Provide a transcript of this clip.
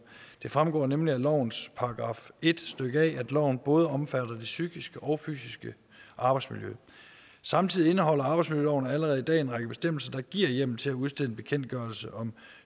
fremgår nemlig af lovens § en stykke a at loven både omfatter det psykiske og fysiske arbejdsmiljø samtidig indeholder arbejdsmiljøloven allerede i dag en række bestemmelser der giver hjemmel til at udstede en bekendtgørelse om